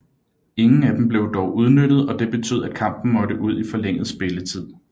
Ingen af dem blev dog udnyttet og det betød at kampen måtte ud i forlænget spilletid